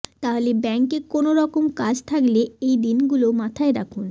তাহলে ব্যাঙ্কে কোনও রকম কাজ থাকলে এই দিনগুলো মাথায় রাখুন